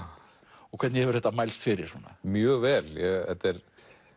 og hvernig hefur þetta mælst fyrir svona mjög vel þetta er